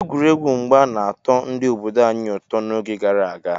Egwuregwu mgba na-atọ ndị obodo anyị ụtọ n'oge gara aga.